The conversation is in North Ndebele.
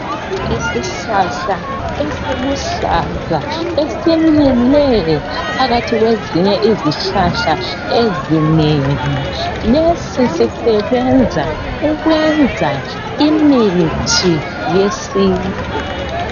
Isihlahla esiluhlaza esimile phakathi kwezinye izihlahla ezinengi, lesi sisebenza ukwenza imithi yesintu.